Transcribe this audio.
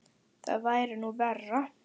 Það væri nú verra.